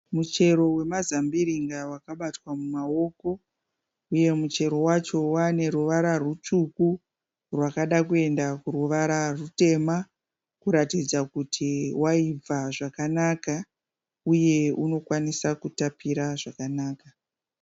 Muchero wemazambiringa wakabatwa mumaoko. Uye muchero wacho waane ruvara rutsvuku rwakada kuenda kuruvara rutema kuratidza kuti waibva zvakanaka uye unokwanisa kutapira zvakanaka.